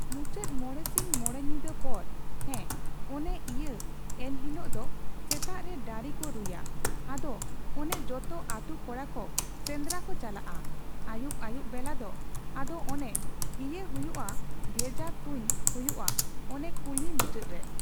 ᱢᱩᱪᱟᱹᱫ ᱢᱚᱬᱮ ᱥᱤᱧ ᱢᱚᱬᱮ ᱧᱤᱫᱟᱹ ᱯᱚᱨ ᱾ᱦᱮᱸ ᱚᱱᱮ ᱤᱭᱟᱹ ᱮᱱᱦᱤᱞᱳᱜ ᱫᱚ ᱥᱮᱛᱟᱜ ᱨᱮ ᱰᱟᱹᱨᱤᱠᱚ ᱨᱩᱭᱟ, ᱟᱫᱚ ᱚᱱᱮ ᱡᱚᱛᱚ ᱟᱹᱛᱩ ᱠᱚᱲᱟᱠᱚ ᱥᱮᱸᱫᱽᱨᱟᱠᱚ ᱪᱟᱞᱟᱜᱼᱟ ᱾ᱟᱹᱭᱩᱵ ᱟᱹᱭᱩᱵ ᱵᱮᱞᱟᱫᱚ ᱟᱫᱚ ᱚᱱᱮ ᱤᱭᱟᱹᱦᱩᱭᱩᱜᱼᱟ ᱵᱷᱮᱡᱟ ᱛᱷᱩᱧ ᱦᱩᱭᱩᱜᱼᱟ ᱚᱱᱮ ᱠᱩᱞᱦᱤ ᱢᱩᱪᱟᱹᱫ ᱨᱮ ᱾